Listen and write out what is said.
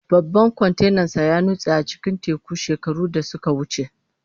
Babban kwantenansa ya nutse a cikin teku shekaru da suka wuce.